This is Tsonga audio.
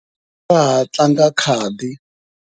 Va ha tlanga khadi.